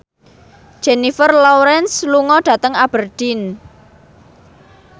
Jennifer Lawrence lunga dhateng Aberdeen